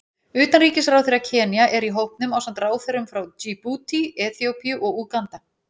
Utanríkisráðherra Kenía er í hópnum ásamt ráðherrum frá Djíbútí, Eþíópíu og Úganda.